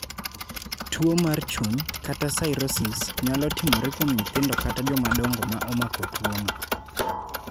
Tuo mar chuny (cirrhosis) nyalo timore kuom nyithindo kata jomadongo ma omako tuono.